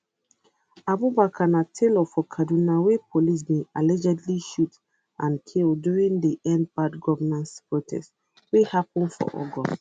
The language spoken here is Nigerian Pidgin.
abubakar na tailor for kaduna wey police bin allegedly shoot and kll during di end bad governance protest wey happun for august